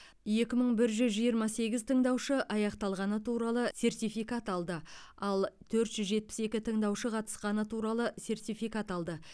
екі мың жүз жиырма сегіз тыңдаушы аяқталғаны туралы сертификат алды ал төрт жүз жетпіс екі тыңдаушы қатысқаны туралы сертификат алды